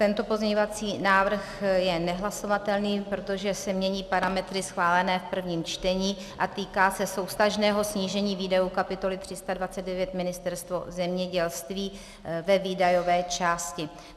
Tento pozměňovací návrh je nehlasovatelný, protože se mění parametry schválené v prvním čtení a týká se souvztažného snížení výdajů kapitoly 329 Ministerstvo zemědělství ve výdajové části.